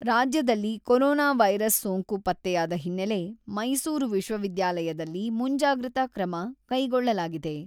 ರಾಜ್ಯದಲ್ಲಿ corona virus ಸೋಂಕು ಪತ್ತೆಯಾದ ಹಿನ್ನೆಲೆ ಮೈಸೂರು ವಿಶ್ವವಿದ್ಯಾಲಯದಲ್ಲಿ ಮುಂಜಾಗ್ರತಾ ಕ್ರಮ ಕೈಗೊಳ್ಳಲಾಗಿದೆ.